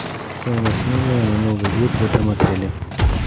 стоимость номера на новый год в этом отеле